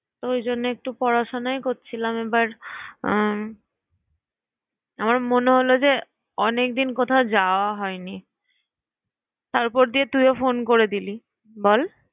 ওই জন্যই একটু পড়াশুনাই করছিলাম। আবার আমার মনে হল যে, অনেকদিন কোথাও যাওয়া হয়নি। তারপর দিয়ে তুইও phone করে দিলি। বল